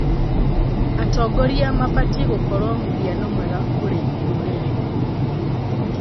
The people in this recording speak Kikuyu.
Atongoria mabatiĩ gũkorwo mũhiano mwega kũrĩ rũrĩrĩ.